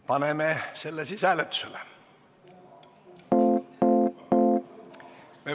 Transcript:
Paneme need siis hääletusele.